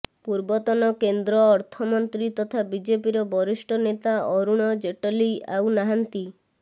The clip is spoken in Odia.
ପୂର୍ବତନ କେନ୍ଦ୍ର ଅର୍ଥମନ୍ତ୍ରୀ ତଥା ବିଜେପିର ବରିଷ୍ଠ ନେତା ଅରୁଣ ଜେଟଲୀ ଆଉ ନାହାନ୍ତି